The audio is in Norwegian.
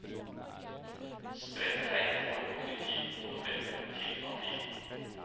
Spredt regn forekommer i tiden november til april.